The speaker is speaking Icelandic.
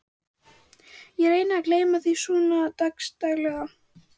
Ég reyni að gleyma því svona dags daglega.